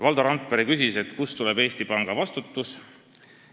Valdo Randpere küsis, kust tuleneb Eesti Panga vastutus.